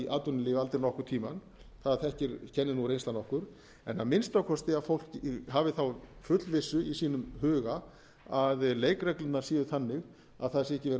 atvinnulífi aldrei nokkurn tímann það kennir nú reynslan okkur en að minnsta kosti að fólk hafi þá fullvissu í sínum huga að leikreglurnar séu þannig að það sé ekki verið að